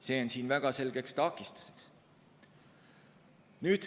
See on väga selge takistus.